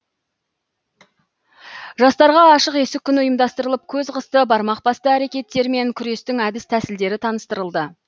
жастарға ашық есік күні ұйымдастырылып көз қысты бармақ басты әрекеттермен күрестің әдіс тәсілдері таныстырылды